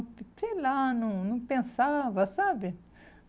Sei lá, não não pensava, sabe?